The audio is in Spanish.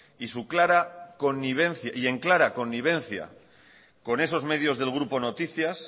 y en clara connivencia con esos medios del grupo noticias